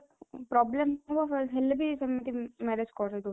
problem ଥିବ ହେଲେ ବି marriage କରେଇ